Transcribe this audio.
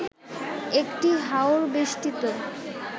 একটি হাওড় বেষ্টিত